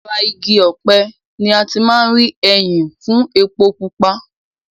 Láti ara igi ọpẹ̀ ní a ti máa ń rí ẹyìn fún epo pupa.